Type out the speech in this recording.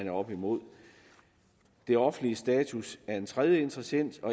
er oppe imod det offentliges status er en tredje interessant